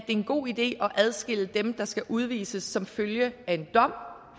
en god idé at adskille dem der skal udvises som følge af en dom